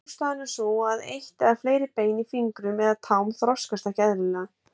Ástæðan er sú að eitt eða fleiri bein í fingrum eða tám þroskast ekki eðlilega.